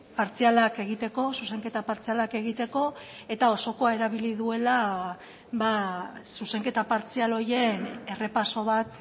partzialak egiteko zuzenketa partzialak egiteko eta osokoa erabili duela zuzenketa partzial horien errepaso bat